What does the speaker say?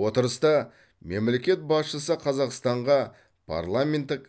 отырыста мемлекет басшысы қазақстанға парламенттік